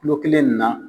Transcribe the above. Kulo kelen nin na